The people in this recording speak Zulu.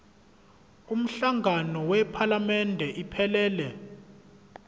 umhlangano wephalamende iphelele